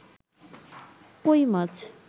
কৈ মাছ